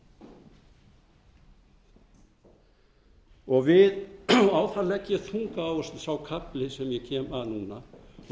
framkvæmdarvaldsins og oddvitaræðis og á það legg ég þunga áherslu sá kafli sem ég kem að núna og